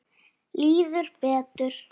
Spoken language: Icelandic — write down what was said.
Líður betur.